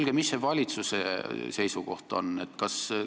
Mis ikkagi on valitsuse seisukoht?